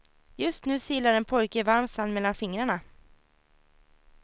Just nu silar en pojke varm sand mellan fingrarna.